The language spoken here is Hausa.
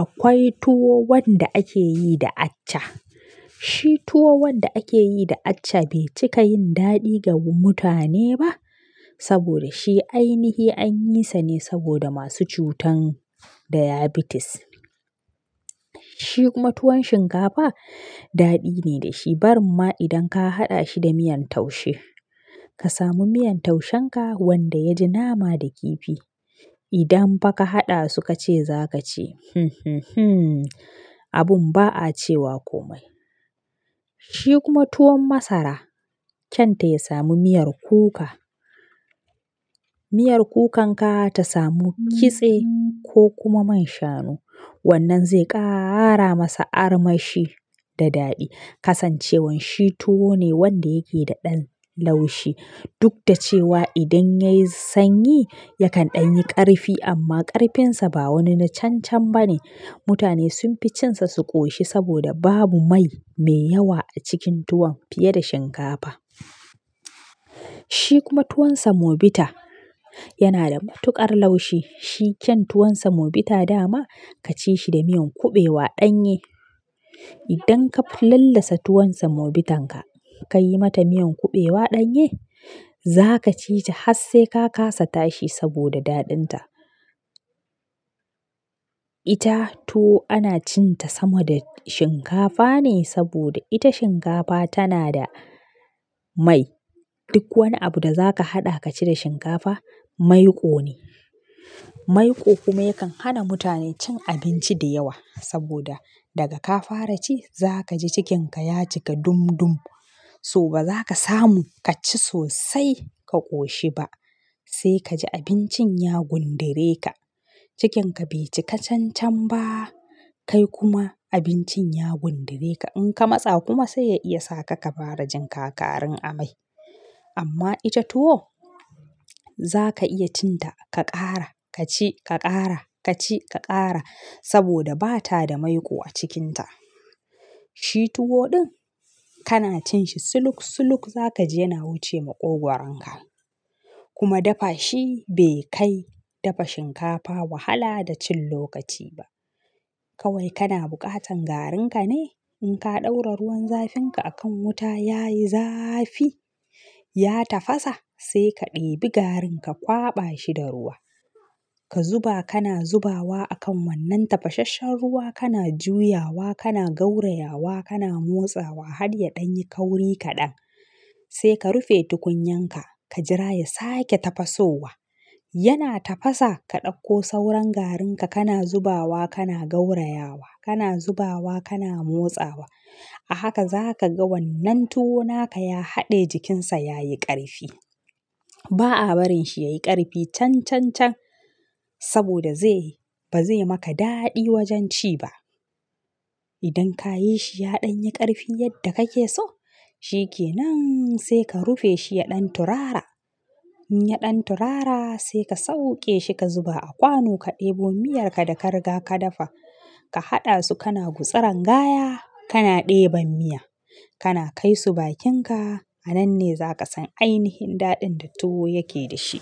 akwai tuwo wanda ake yi da acca. Shi tuwo wanda ake yi da accha bai cika yin daɗi ga mutane ba saboda shi ainihi an yi sa ne saboda masu cutan diabetes. Shi kuma tuwon shinkafa daɗi ne da shi barinma idan ka haɗa shi da miyan taushe. Ka samu miyan taushenka wanda ya ji nama da kifi idan fa ka haɗa su ka ce za ka ci abun ba a cewa komai. Shi kuma tuwon masara kyan ta ya samu miyar kuka. Miyar kukan ka ta samu kitse ko kuma man shanu wannan zai ƙara masa armashi da daɗi. Kasancewan shi tuwo ne wanda yake da ɗan laushi duk da cewa idan yayi sanyi yakan ɗan yi ƙarfi amma ƙarfinsa ba wani na can can ba ne. Mutane sun fi cin sa su ƙoshi saboda babu mai mai yawa a cikin tuwon fiye da shinkafa. Shi kuma tuwon semobita yana da matuƙar laushi. Shi kyan tuwon semobita dama ka ci shi da miyan kuɓewa ɗanye. Idan ka lallasa tuwon semobitanka ka yi mata miyan kuɓewa ɗanye za ka ci ta har sai ka kasa tashi saboda daɗin ta. Ita tuwo ana cin ta sama da shinkafa ne saboda ita shinkafa tana da mai. Duk wani abu da za ka haɗa ka ci da shinkafa maiƙo ne. Maiƙo kuma yakan hana mutane cin abinci da yawa saboda daga ka fara ci za ka ji cikinka ya cika dum dum. So ba za ka samu ka ci sosai ka ƙoshi ba sai ka ji abincin ya gundure ka. Cikinka bai cika can can ba kai kuma abincin ya gundure ka. In ka matsa kuma sai ya iya sa ka ka fara jin kakarin amai. Amma ita tuwo za ka iya cin ta ka ƙara ka ci ka ƙara ka ci ka ƙara saboda ba ta da maiƙo a cikinta. Shi tuwo ɗin kana cin shi suluk suluk za ka ji yana wuce maƙogwaron ka kuma dafa shi bai kai dafa shinkafa wahala da cin lokaci ba. Kawai kana buƙatan garinka ne in ka ɗaura ruwan zafinka a kan wuta yayi zafi ya tafasa sai ka ɗibi garin ka kwaɓa shi da ruwa. Ka zuba kana zubawa a kan wannan tafasasshen ruwa kana juyawa kana gaurayawa kana motsawa har ya ɗan yi kauri kaɗan sai ka rufe tukunyan ka ka jira ya sake tafasowa. Yana tafasa ka ɗauko sauran garinka kana zubawa kana gaurayawa kana zubawa kana motsawa. A haka za ka ga wannan tuwo naka ya haɗe jikinsa ya yi ƙarfi. Ba a barin shi yayi ƙarfi can can can saboda zai-- ba zai maka daɗi wajen ci ba. Idan ka yi shi ya ɗan yi ƙarfi yadda kake so shi ke nan sai ka rufe shi ya ɗan turara. In ya ɗan turara sai ka sauƙe shi ka zuba a kwano ka ɗebo miyarka da ka riga ka dafa. Ka haɗa su kana gutsiran gaya kana ɗeban miya kana kai su bakinka a nan ne za ka san ainihin daɗin da tuwo yake da shi.